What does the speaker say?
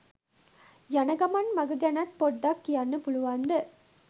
යන ගමන් මග ගැනත් පොඩ්ඩක් කියන්න පුළුවන්ද?